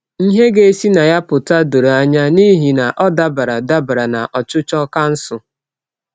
Ihe ga-esi na ya pụta doro anya, n’ihi na ọ dabara dabara na ọchịchọ kansụl.